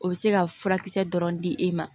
O bɛ se ka furakisɛ dɔrɔn di e ma